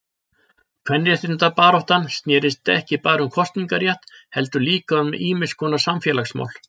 Kvenréttindabaráttan snérist ekki bara um kosningarétt heldur líka um ýmiskonar samfélagsmál.